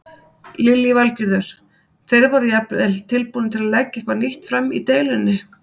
Lillý Valgerður: Þeir voru jafnvel tilbúnir að leggja eitthvað nýtt fram í deilunni?